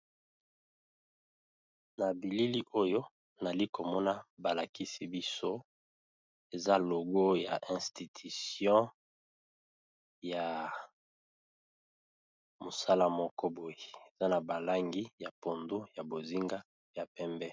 na bilili oyo nali komona balakisi biso eza logo ya institution ya mosala moko boye eza na balangi ya pondo ya bozinga ya pembe